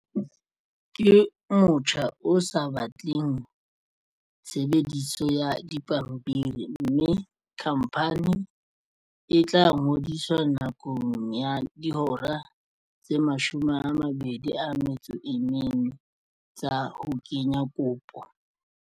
Ke motjha o sa batleng tshebediso ya dipampiri mme khamphani e tla ngodiswa nakong ya dihora tse 24 tsa ho kenya kopo.